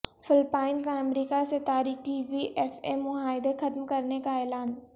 Philippines کا امریکہ سے تاریخی وی ایف اے معاہدہ ختم کرنے کا اعلان